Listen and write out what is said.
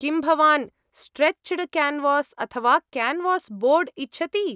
किं भवान् stretched canvas अथवा क्यान्वास् बोर्ड् इच्छति?